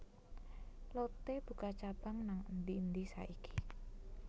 Lotte buka cabang nang endi endi saiki